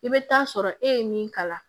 I bɛ taa sɔrɔ e ye min kala